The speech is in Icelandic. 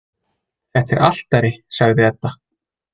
Þetta er altari, sagði Edda.